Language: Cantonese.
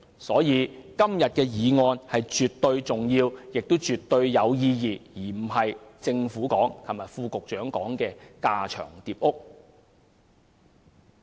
所以，今天的議案絕對重要和有意義，而非副局長昨天所說的架床疊屋。